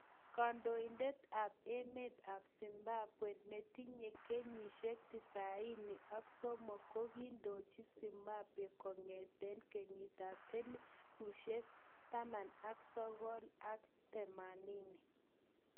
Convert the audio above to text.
Kandoitet ap emet ap Zimbabwe, anetinye kenyisheng 93,ko kikondoji Zimbabwe kongeteng 1980